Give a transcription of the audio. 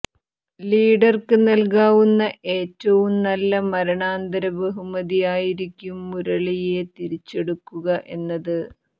ലീഡര്ക്ക് നല്കാവുന്ന ഏറ്റവും നല്ല മരണാന്തര ബഹുമതി ആയിരിക്കും മുരളിയെ തിരിച്ചെടുക്കുക എന്നത്